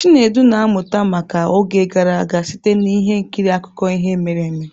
Chinedu na-amụta maka oge gara aga site na ihe nkiri akụkọ ihe mere eme.